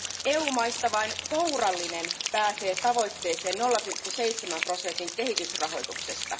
EU maista vain kourallinen pääsee tavoitteeseen 0,7 prosentin kehitysrahoituksesta.